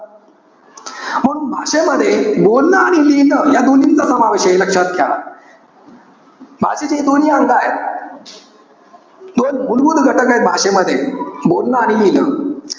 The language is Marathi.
म्हणून भाषेमध्ये, बोलणं आणि लिहिणं या दोन्हींचा समावेश आहे. हे लक्षात घ्या. भाषेचे हे दोन्ही अंग आहे. दोन मूलभूत घटक आहे भाषेमध्ये. बोलणं आणि लिहिणं.